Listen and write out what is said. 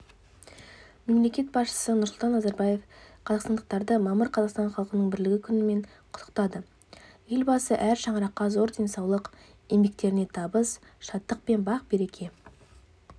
мемлекет басшысы нұрсұлтан назарбаев қазақстандықтарды мамыр қазақстан халқының бірлігі күнімен құттықтады елбасы әр шаңыраққа зор денсаулық еңбектеріне табыс шаттық пен бақ-береке